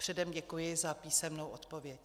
Předem děkuji za písemnou odpověď.